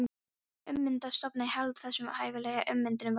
Ummyndaði stofninn hélt þessum hæfileika, ummyndunin var varanleg.